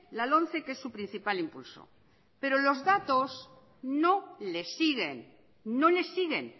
la lomce que es su principal impulso pero los datos no le siguen